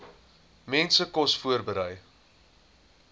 mense kos voorberei